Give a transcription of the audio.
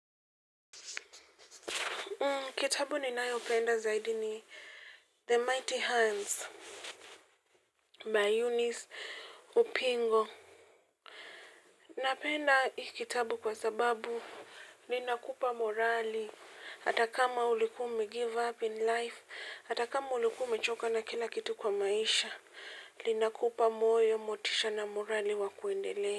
Kitabu ninayopenda zaidi ni The Mighty Hands by Eunice Upingo. Napenda hii kitabu kwa sababu linakupa morali. Hata kama ulikuwa ume give up in life, hata kama ulikuwa ume choka na kila kitu kwa maisha, linakupa moyo, motisha na morali wa kuendelea.